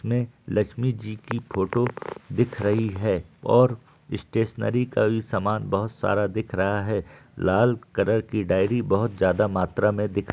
इस मे लक्ष्मी जी की फोटो दिख रही है और स्टैशनेरी का भी सामान बहुत सारा दिख रहा हैं लाल कलर की डायरी बहुत ज्यादा मात्रा में दिख --